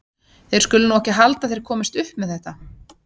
Þeir skulu nú ekki halda að þeir komist upp með þetta!